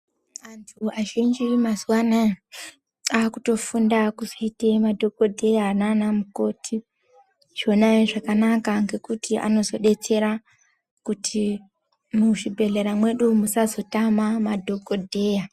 Antu azhinji mazuwa anaya akutofunda kuzoite madhokodheya nana mukoti achiona zvakanaka ngekuti anozodetsera kuti muzvibhedhlera mwedu musazotama madhokodheya.